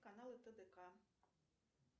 каналы тдк